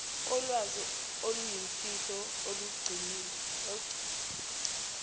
kolwazi oluyimfihlo olugcinwe